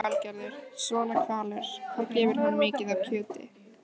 Lillý Valgerður: Svona hvalur, hvað gefur hann mikið af kjöti?